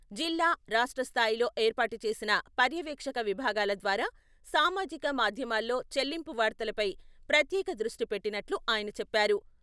జిల్లా, రాష్ట్ర స్థాయిలో ఏర్పాటు చేసిన పర్యవేక్షక విభాగాల ద్వారా సామాజిక మాధ్యమాల్లో చెల్లింపు వార్తలపై ప్రత్యేక దృష్టి పెట్టినట్లు ఆయన చెప్పారు.